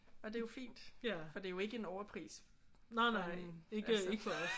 Og det er jo fint. For det er jo ikke overpris for en altså